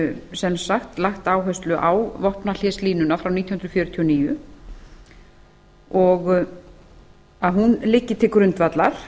sem sagt lagt áherslu á vopnahléslínuna frá nítján hundruð fjörutíu og níu að hún liggi til grundvallar